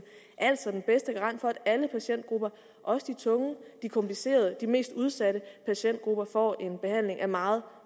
altså den bedste garant for at alle patientgrupper også de tunge de komplicerede de mest udsatte patientgrupper får en behandling af meget